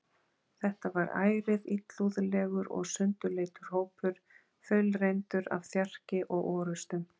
Þetta var ærið illúðlegur og sundurleitur hópur, þaulreyndur af þjarki og orustum.